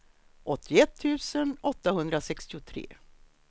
åttioett tusen åttahundrasextiotre